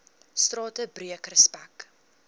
strate breek respek